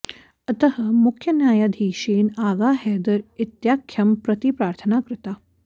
अतः मुख्यन्यायाधीशेन आगा हैदर् इत्याख्यं प्रति प्रार्थना कृता